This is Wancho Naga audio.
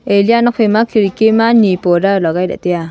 a liya nok phaima khidki ma ni porda lagai lah taiya.